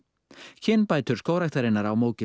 kynbætur Skógræktarinnar á Mógilsá